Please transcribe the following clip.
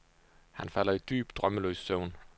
Han falder i dyb, drømmeløs søvn.